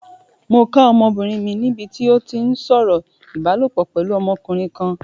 Mo ká ọmọbìnrin mi níbi tí ó ti ń sọ̀rọ̀ ìbálopọ̀ pẹ̀lú ọmọkùnrin kan.